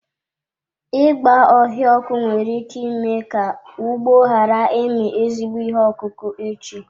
Ịgba ọhịa ọkụ nwere ike ime ka ugbo ghara ịmị ezigbo ihe ọkụkụ echi.